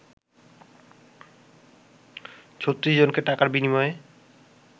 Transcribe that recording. ৩৬ জনকে টাকার বিনিময়ে